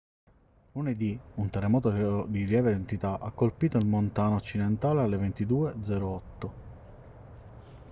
lunedì un terremoto di lieve entità ha colpito il montana occidentale alle 22:08